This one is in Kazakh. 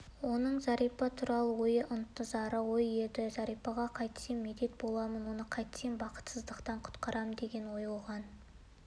оның зәрипа туралы ойы ынтызарлы ой еді зәрипаға қайтсем медет боламын оны қайтсем бақытсыздықтан құтқарам деген ой оған